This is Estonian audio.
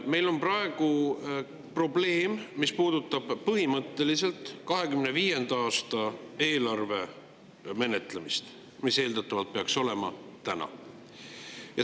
Meil on praegu probleem, mis puudutab 2025. aasta eelarve menetlemist, mis eeldatavalt peaks olema täna.